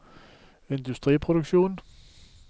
industriproduksjon